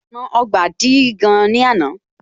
Ọ̀nà Ọgbà dí gan ní àná